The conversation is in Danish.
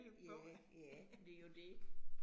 Ja, ja, det jo det